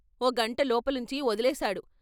ఓ గంట లోపలుంచి వొదిలేశాడు.